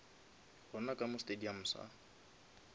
gona ka mo stadium sa